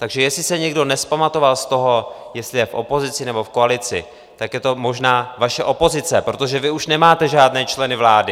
Takže jestli se někdo nevzpamatoval z toho, jestli je v opozici nebo v koalici, tak je to možná vaše opozice, protože vy už nemáte žádné členy vlády.